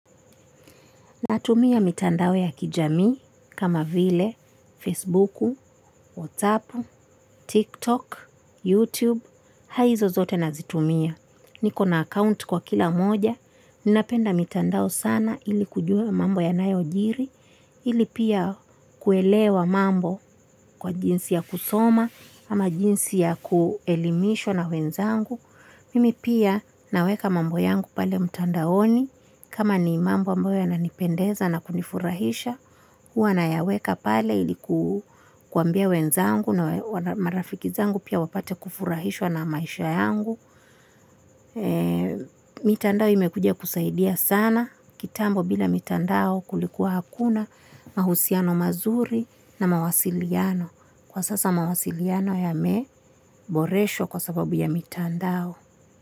Natumia mitandao ya kijami, kama vile, Facebook, WhatsApp, TikTok, YouTube, hizo zote nazitumia. Niko na account kwa kila moja, ninapenda mitandao sana ili kujua mambo ya nayojiri, ili pia kuelewa mambo kwa jinsi ya kusoma, ama jinsi ya kuelimisha na wenzangu. Mimi pia naweka mambo yangu pale mtandaoni, kama ni mambo mambo yananipendeza na kunifurahisha, huwa nayaweka pale ili kuwambia wenzangu na marafiki zangu pia wapate kufurahishwa na maisha yangu. Mitandao imekuja kusaidia sana, kitambo bila mitandao kulikuwa hakuna, mahusiano mazuri na mawasiliano. Kwa sasa mawasiliano yameboreshwa kwa sababu ya mitandao.